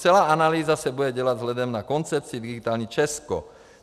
Celá analýza se bude dělat vzhledem na koncepci Digitální Česko.